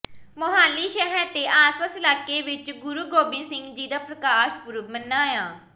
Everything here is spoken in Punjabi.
ਮੁਹਾਲੀ ਸ਼ਹਿਰ ਤੇ ਆਸਪਾਸ ਇਲਾਕੇ ਵਿੱਚ ਗੁਰੂ ਗੋਬਿੰਦ ਸਿੰਘ ਜੀ ਦਾ ਪ੍ਰਕਾਸ਼ ਪੁਰਬ ਮਨਾਇਆ